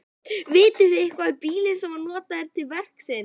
Vitið þið eitthvað um bílinn sem var notaður til verksins?